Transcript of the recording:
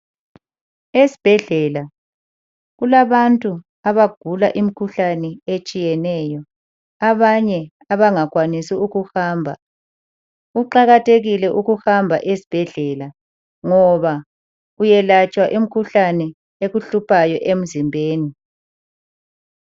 Esibhedlela kulabantu abagula imkhuhlane etshiyeneyo abanye abangakwanisi ukuhamba. Kuqakathekile ukuhamba esibhedlela ngoba uyelatshwa imkhuhlane ekuhluphayo emzimbeni.